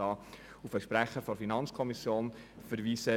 Ich kann auf den Sprecher der FiKo verweisen.